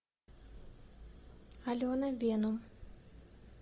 алена венум